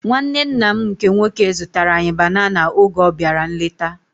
Nwanne nna m nke nwoke zụtara anyị banana oge ọ bịara nleta